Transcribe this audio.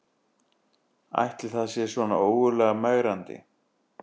Ætli það sé svona ógurlega megrandi